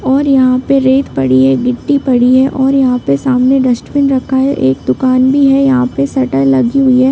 और यहाँ पे रेत पड़ी है गिट्टी पड़ी है और यहाँ पर सामने डस्टबिन रखा है एक दुकान भी है यहाँ पर शटर लगी हुई है।